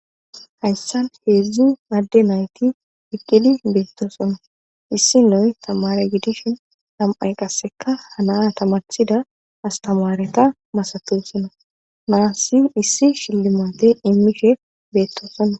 hayssan heedzdzu adde nayti eiqqidi beetto sonna issi noy tamare gidishin tam7ay qasseka hana tamarshida astamaareta masatu sonna naassi issi shillimate immishe beettosona